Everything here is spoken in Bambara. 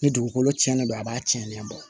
Ni dugukolo tiɲɛnen don a b'a tiɲɛnen don